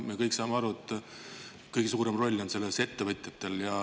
Me kõik saame aru, et kõige suurem roll selles on ettevõtjatel.